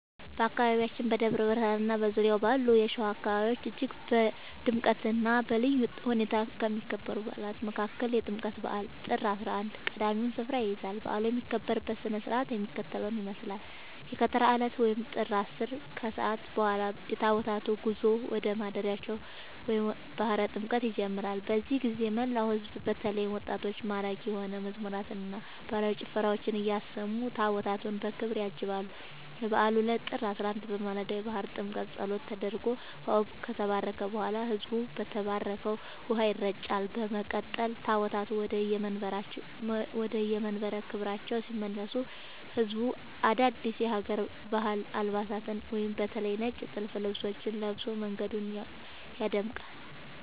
በአካባቢያችን በደብረ ብርሃንና በዙሪያው ባሉ የሸዋ አካባቢዎች እጅግ በድምቀትና በልዩ ሁኔታ ከሚከበሩ በዓላት መካከል የጥምቀት በዓል (ጥር 11) ቀዳሚውን ስፍራ ይይዛል። በዓሉ የሚከበርበት ሥነ ሥርዓት የሚከተለውን ይመስላል፦ የከተራ ዕለት (ጥር 10)፦ ከሰዓት በኋላ የታቦታቱ ጉዞ ወደ ማደሪያቸው (ባሕረ ጥምቀቱ) ይጀምራል። በዚህ ጊዜ መላው ሕዝብ በተለይም ወጣቶች ማራኪ የሆኑ መዝሙራትንና ባህላዊ ጭፈራዎችን እያሰሙ ታቦታቱን በክብር ያጅባሉ። የበዓሉ ዕለት (ጥር 11)፦ በማለዳው የባሕረ ጥምቀቱ ጸሎት ተደርጎ ውኃው ከተባረከ በኋላ፣ ሕዝቡ በተባረከው ውኃ ይረጫል። በመቀጠል ታቦታቱ ወደየመንበረ ክብራቸው ሲመለሱ ሕዝቡ አዳዲስ የሀገር ባህል አልባሳትን (በተለይ ነጭ ጥልፍ ልብሶችን) ለብሶ መንገዱን ያደምቃል።